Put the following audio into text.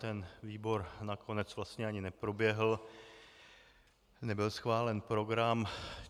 Ten výbor nakonec vlastně ani neproběhl, nebyl schválen program.